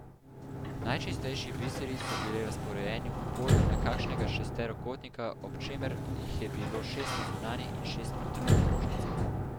Najčistejši biseri so bili razporejeni v polju nekakšnega šesterokotnika, ob čemer jih je bilo šest na zunanji in šest na notranji krožnici.